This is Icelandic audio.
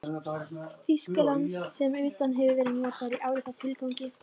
Þýskalands sem utan hafi verið notaðir í álíka tilgangi.